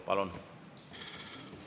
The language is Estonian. Palun!